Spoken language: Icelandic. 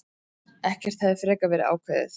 Ekkert hefði frekar verið ákveðið.